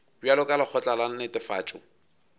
bjalo ka lekgotla la netefatšo